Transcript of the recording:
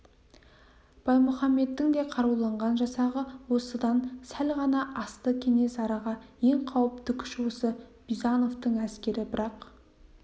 баймұхаммедтің де қаруланған жасағы осыдан сәл ғана асты кенесарыға ең қауіпті күш осы бизановтың әскері бірақ